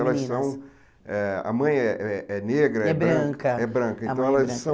Elas são eh... A mãe eh eh é negra, é branca, é branca então elas são...